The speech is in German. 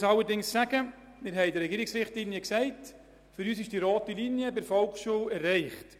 Man muss allerdings sagen, dass wir in den Regierungsrichtlinien gesagt haben, für uns sei die rote Linie bei der Volksschule erreicht.